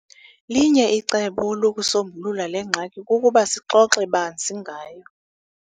Linye icebo lokusombulula le ngxaki kukuba sixoxe banzi ngayo.